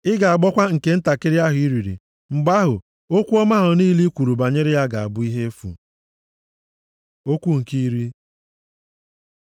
Ị ga-agbọkwa nke ntakịrị ahụ i riri mgbe ahụ, okwu ọma ahụ niile i kwuru banyere ya ga-abụ ihe efu. Okwu nke iri